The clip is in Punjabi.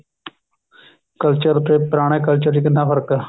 culture ਤੇ ਪੁਰਾਣੇ culture ਵਿੱਚ ਕਿੰਨਾ ਫ਼ਰਕ ਹੈ